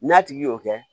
N'a tigi y'o kɛ